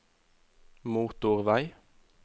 motorvei